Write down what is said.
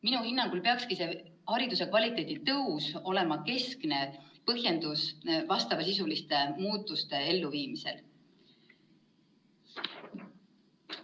Minu hinnangul peakski hariduse kvaliteedi paranemine olema keskne põhjendus vastavasisuliste muudatuste elluviimisel.